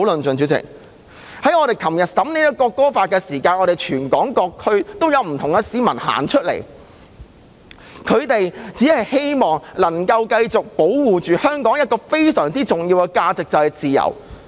主席，我們昨天審議《條例草案》的時候，全港各區都有不同市民上街，只希望能夠繼續保護香港一個非常重要的價值，即自由。